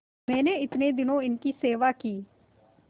मैंने इतने दिनों इनकी सेवा की